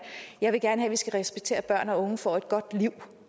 jeg vil gerne have at vi skal respektere at børn og unge får et godt liv